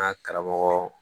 An ka karamɔgɔ